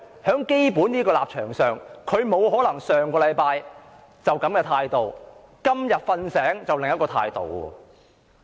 就基本立場而言，她不可能上星期持一種態度，今天"睡醒"卻持另一種態度。